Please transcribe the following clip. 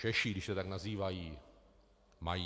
Češi, když se tak nazývají, mají.